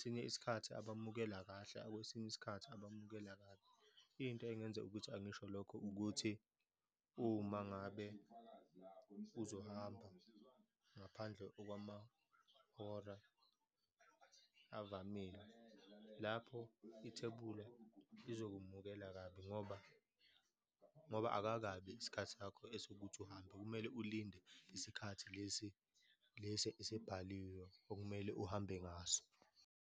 Ngesinye isikhathi abamukela kahle, akwesinye isikhathi abamukela kabi. Into engenza ukuthi angisho lokho ukuthi, uma ngabe uzohamba ngaphandle okwamahora avamile, lapho ithebula izokumukela kabi ngoba, ngoba akakabi isikhathi sakho esokuthi uhambe, kumele ulinde isikhathi lesi, lesi esebhaliwe okumele uhambe ngaso.